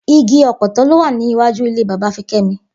Igi ò̩pò̩tó̩ ló wà ní iwájú ilé bàbá Fiké̩mi